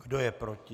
Kdo je proti?